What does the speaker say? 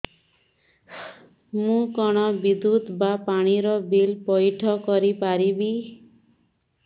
ମୁ କଣ ବିଦ୍ୟୁତ ବା ପାଣି ର ବିଲ ପଇଠ କରି ପାରିବି